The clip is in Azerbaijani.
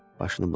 Başını buladı.